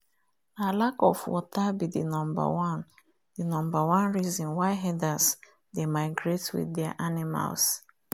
na lack of water be the number one the number one reason why herders dey migrate with their animals